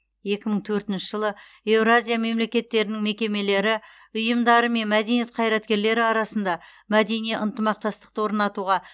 екі мыңтөртінші жылы еуразия мемлекеттерінің мекемелері ұйымдары мен мәдениет қайраткерлері арасында мәдени ынтымақтастықты орнатуға